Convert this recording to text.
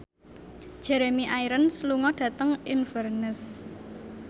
Jeremy Irons lunga dhateng Inverness